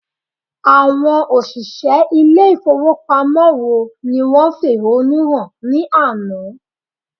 Àwọn òṣìṣẹ́ ilé ìfowópamọ́ wo ni wọ́n fẹ̀hónú hàn ní àná?